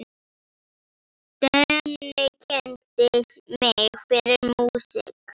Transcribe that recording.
Denni kynnti mig fyrir músík.